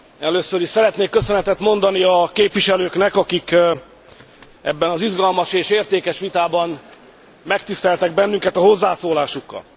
Először is szeretnék köszönetet mondani a képviselőknek, akik ebben az izgalmas és értékes vitában megtiszteltek bennünket a hozzászólásukkal.